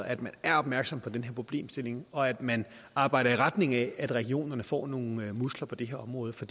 at man er opmærksom på den her problemstilling og at man arbejder i retning af at regionerne får nogle muskler på det her område for